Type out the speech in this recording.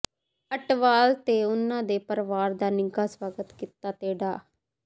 ਅਟਵਾਲ ਤੇ ਉਨ੍ਹਾਂ ਦੇ ਪਰਿਵਾਰ ਦਾ ਨਿੱਘਾ ਸਵਾਗਤ ਕੀਤਾ ਤੇ ਡਾ